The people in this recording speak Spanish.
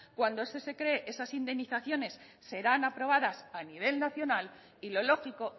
cuando esas indemnizaciones serán aprobadas a nivel nacional y lo lógico